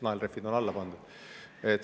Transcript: Kas naelrehvid on alla pandud?